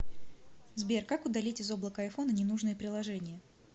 сбер как удалить из облака айфона ненужные приложения